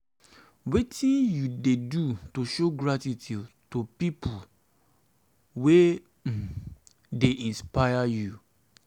wetin you dey do to show gratitude to people wey um dey inspire you?